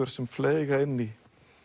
sem fleyga inn í